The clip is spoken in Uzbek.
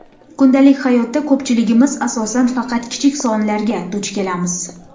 Kundalik hayotda ko‘pchiligimiz asosan faqat kichik sonlarga duch kelamiz.